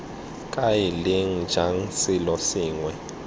kae leng jang selo sengwe